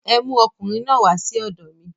Ẹ mú ọmọkùnrin náà wà sí ọ̀dọ̀ mi.